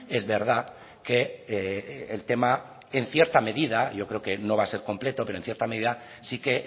es verdad que el tema en cierta medida yo creo que no va a ser completo pero en cierta medida sí que